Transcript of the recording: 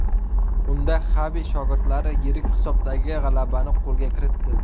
Unda Xavi shogirdlari yirik hisobdagi g‘alabani qo‘lga kiritdi.